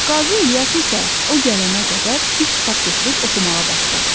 Qazi İlyas isə o gələnə qədər bir kitab götürüb oxumağa başladı.